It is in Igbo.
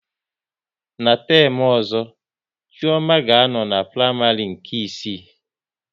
Ná temu ọzọ, Chioma ga a nọ n'praịmarị nke isii